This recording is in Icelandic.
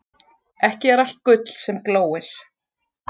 Ekki er allt gull sem glóir.